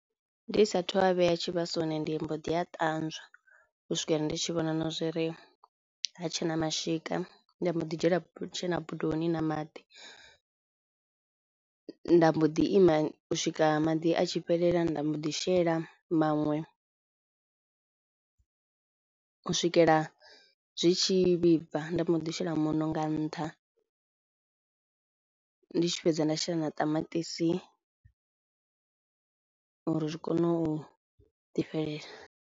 Ndi sathu a vhea tshivhasoni ndi mbo ḓi a ṱanzwa u swikela ndi tshi vhona na zwo ri hatshena mashika, nda mbo ḓi dzhiela dzena bodoni na maḓi, nda mbo ḓi ima u swika maḓi a tshi fhelela nda mbo ḓi shela maṅwe u swikela zwi tshi vhibva, nda mbo ḓi shela muṋo nga ntha, ndi tshi fhedza nda shela na ṱamaṱisi uri zwi kono u ḓi fhelela.